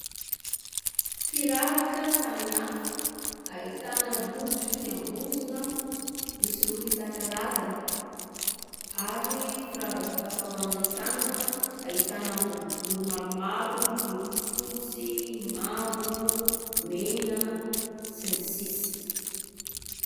Firavaka samihafa ahitana rojo fiambozina, misy loko isan-karazany ary firavaka fatao amin'ny tanana ahitana boribory maromaro miloko fotsy, mavo, mena sy ny sisa.